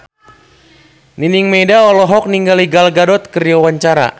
Nining Meida olohok ningali Gal Gadot keur diwawancara